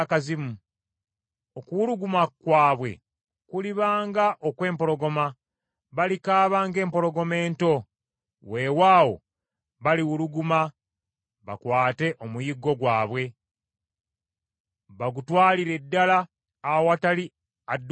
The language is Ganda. Okuwuluguma kwabwe kuliba nga okw’empologoma, balikaaba ng’empologoma ento: weewaawo baliwuluguma bakwate omuyiggo gwabwe bagutwalire ddala awatali adduukirira.